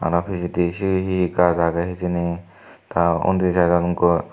ai pijedi sibe si gach agey hijeni tar undi side ot gor.